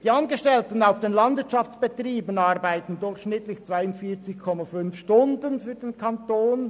Die Angestellten der Landwirtschaftsbetriebe arbeiten durchschnittlich 42,5 Stunden für den Kanton.